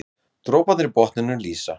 Droparnir í botninum lýsa.